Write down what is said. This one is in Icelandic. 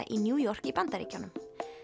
í New York í Bandaríkjunum